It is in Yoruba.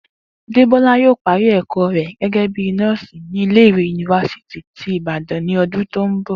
Débó̩lá yóò parí è̩kó̩ rè̩ gé̩gé̩ bíi nó̩ò̩sì ní ilé ìwé yunifásítì tí Ìbàdàn ní o̩dún tó ń bò